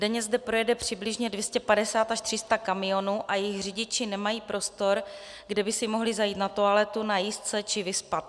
Denně zde projede přibližně 250 až 300 kamionů a jejich řidiči nemají prostor, kde by si mohli zajít na toaletu, najíst se či vyspat.